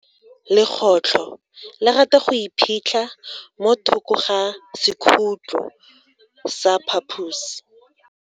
Legotlo le rata go iphitlha mo thoko ga sekhutlo sa phaposi.